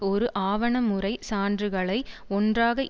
ஒரு ஆவணமுறைச் சான்றுகளை ஒன்றாக